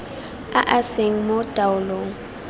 a a seng mo taolong